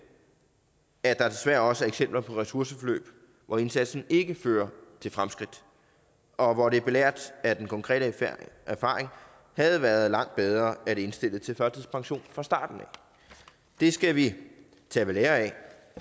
at der desværre også er eksempler på ressourceforløb hvor indsatsen ikke fører til fremskridt og hvor det belært af den konkrete erfaring havde været langt bedre at indstille til førtidspension fra starten af det skal vi tage ved lære af